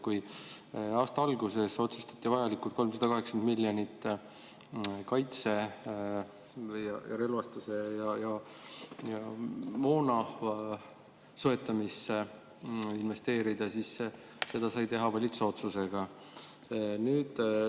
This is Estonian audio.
Kui aasta alguses otsustati vajalikud 380 miljonit relvastuse ja moona soetamisse investeerida, siis seda sai teha valitsuse otsusega.